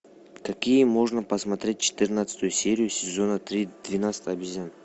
такие можно посмотреть четырнадцатую серию сезона три двенадцать обезьян